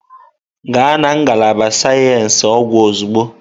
Gaa na ngalaba sayensị ọgwụ ozugbo!